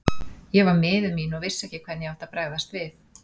Ég var miður mín og vissi ekki hvernig ég átti að bregðast við.